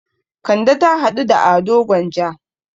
Kande ta haɗu da Ado Gwanja.